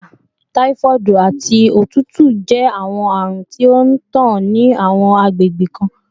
Ibà, typhoid, ati otutu jẹ awọn arun ti o ntan ni awọn agbegbe kan